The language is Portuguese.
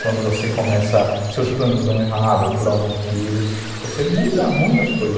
Quando você começa, seus planos dão errado por algum motivo, você muda muitas coisas.